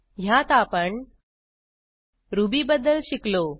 ह्यात आपण रुबी बद्दल शिकलो